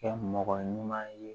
Kɛ mɔgɔ ɲuman ye